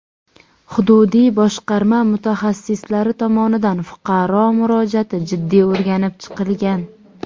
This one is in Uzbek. Hududiy boshqarma mutaxassislari tomonidan fuqaro murojaati jiddiy o‘rganib chiqilgan.